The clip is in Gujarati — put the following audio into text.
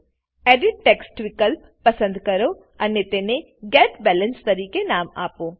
એડિટ ટેક્સ્ટ વિકલ્પ પસંદ કરો અને તેને ગેટ બેલેન્સ તરીકે નામ આપો